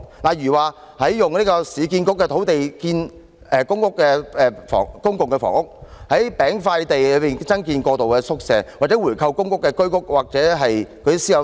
例如使用市區重建局的土地興建公營房屋、在"餅塊地"增建過渡宿舍，以及回購公屋、居屋或私樓單位、提供租金津貼......